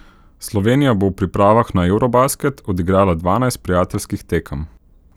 Slovenija bo v pripravah na eurobasket odigrala dvanajst prijateljskih tekem.